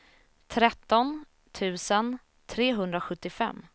tretton tusen trehundrasjuttiofem